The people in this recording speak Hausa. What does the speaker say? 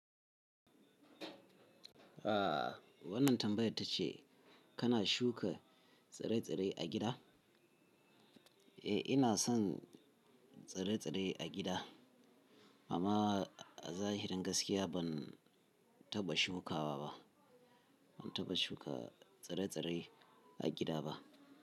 Ah wannan tambayar tace kana shuka tsire-tsire a gida? Eh ina son tsire-tsire a gida amma a zahirin gaskiya ban taba shukawa ba, ban taba shuka tsire-tsire a gida ba.